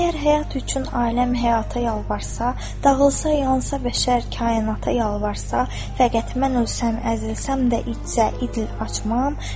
Əgər həyat üçün ailəm həyata yalvarasa, dağılsa, yansa bəşər kainata yalvarasa, fəqət mən ölsəm, əzilsəm də idcə, idil açmaram.